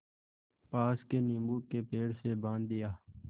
पास के नीबू के पेड़ से बाँध दिया